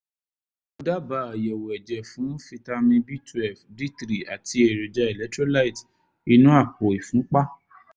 mo dábàá àyẹ̀wò ẹ̀jẹ̀ fún fítámì b twelve d three àti èròjà electrolyte inú àpò ìfúnpá